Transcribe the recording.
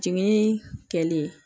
Jiginni kɛli